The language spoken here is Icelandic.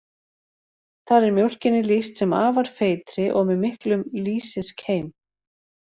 Þar er mjólkinni lýst sem afar feitri og með miklum lýsiskeim.